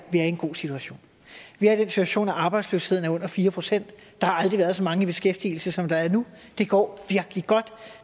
vi er i en god situation vi er i den situation at arbejdsløsheden er under fire procent der har aldrig været så mange i beskæftigelse som der er nu det går virkelig godt